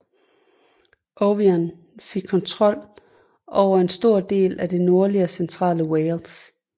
Owain fik kontrol over en stor del af det nordlige og centrale Wales